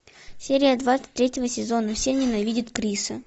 серия двадцать третьего сезона все ненавидят криса